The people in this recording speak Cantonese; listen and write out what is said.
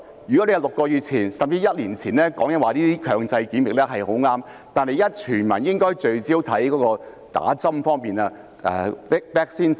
如果你在6個月甚至1年前提出這些強制檢疫是很正確，但現時全民應該聚焦在打針方面、vaccine 方面。